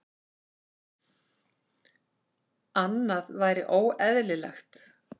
Annað væri óeðlilegt.